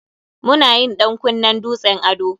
Mu na yin ɗan kunnen dutsen ado.